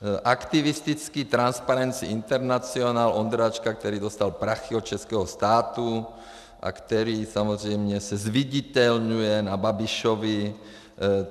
Aktivistický Transparency International Ondráčka, který dostal prachy od českého státu a který samozřejmě se zviditelňuje na Babišovi.